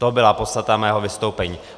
To byla podstata mého vystoupení.